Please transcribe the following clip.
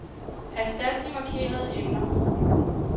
Erstat de markerede emner.